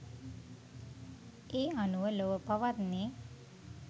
ඒ අනුව ලොව පවත්නේ